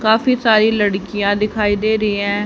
काफी सारी लड़कियां दिखाई दे रही है।